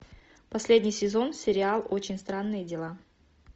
последний сезон сериал очень странные дела